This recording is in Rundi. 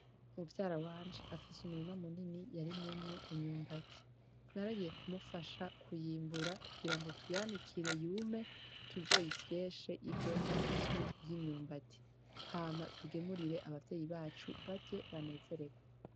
Muvyara wanje afise umurima munini yarimyemwo imyumbati naragiye kumufasha kuyimbura kugira ngo tuyanikire yume tuzoyisyeshe ivemwo ifu y'imyumbati hama tugemurire abavyeyi bacu barye banezererwe.